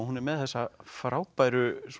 hún er með þessa frábæru